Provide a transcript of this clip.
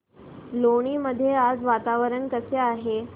लोणी मध्ये आज वातावरण कसे आहे